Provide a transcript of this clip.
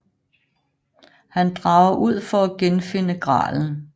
Han drager ud for at genfinde gralen